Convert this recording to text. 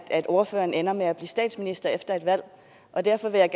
ordføreren ender med at blive statsminister efter et valg og derfor vil jeg